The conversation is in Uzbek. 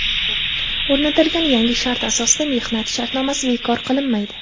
O‘rnatilgan yangi shart asosida mehnat shartnomasi bekor qilinmaydi.